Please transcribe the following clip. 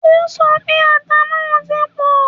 O sọ pé ata náà ti pọ́